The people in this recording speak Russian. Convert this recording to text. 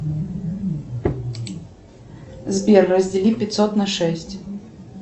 сбер раздели пятьсот на шесть